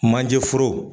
Manje foro